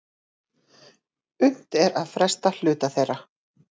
Unnt er að fresta hluta þeirra